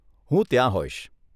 હું ત્યાં હોઈશ.